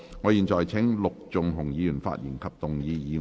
我現在請陸頌雄議員發言及動議議案。